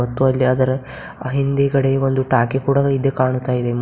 ಅಲ್ಲಿ ಅದರ ಹಿಂದೆಗಡೆ ಒಂದು ಟಾಕಿ ಕೂಡ ರೀತಿ ಕಾಣ್ತಾ ಇದೆ.